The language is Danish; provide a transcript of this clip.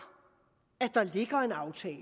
at der ligger en aftale